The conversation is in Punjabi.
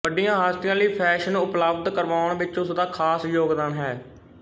ਵੱਡੀਆਂ ਹਸਤੀਆਂ ਲਈ ਫ਼ੈਸ਼ਨ ਉਪਲਬਧ ਕਰਵਾਉਣ ਵਿੱਚ ਉਸਦਾ ਖਾਸ ਯੋਗਦਾਨ ਹੈ